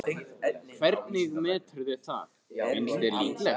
Hvernig meturðu það, finnst þér líklegt?